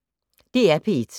DR P1